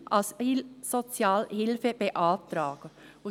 ] können Asylsozialhilfe beantragen».